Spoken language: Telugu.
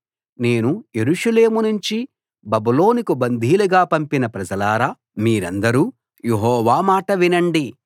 నేను యెరూషలేము నుంచి బబులోనుకు బందీలుగా పంపిన ప్రజలారా మీరందరూ యెహోవా మాట వినండి